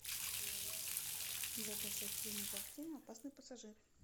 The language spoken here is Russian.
закачай кинокартину опасный пассажир